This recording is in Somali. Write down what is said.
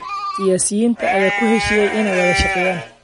Siyaasiyiinta ayaa ku heshiiyey inay wada shaqeeyaan